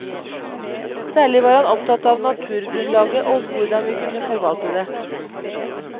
Særlig var han opptatt av naturgrunnlaget og hvordan vi kunne forvalte det.